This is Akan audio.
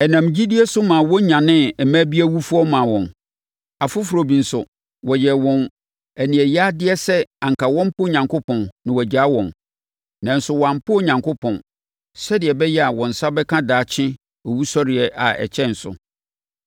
Ɛnam gyidie so ma wɔnyanee mmaa bi awufoɔ maa wɔn. Afoforɔ bi nso, wɔyɛɛ wɔn aniɛyadeɛ sɛ anka wɔmpo Onyankopɔn na wɔagyaa wɔn. Nanso, wɔammpo Onyankopɔn, sɛdeɛ ɛbɛyɛ a wɔn nsa bɛka daakye owusɔreɛ a ɛkyɛn so.